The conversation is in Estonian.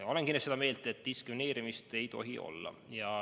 Olen kindlasti seda meelt, et diskrimineerimist ei tohi olla.